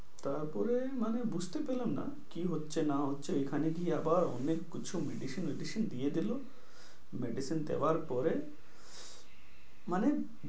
তার পরে মানে বুজতে পেলাম না, কি হচ্ছে না হচ্ছে এখানে গিয়ে আবার অনেক কিছু medicine medicine দিয়ে দিলো medicine দেওয়ার পরে মানে,